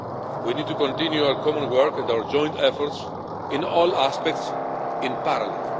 We need to continue our common work and our joint efforts in all aspects in parallel.